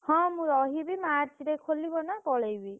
ହଁ ମୁଁ ରହିବି। March ରେ ଖୋଲିବ ନା ପଳେଇବି।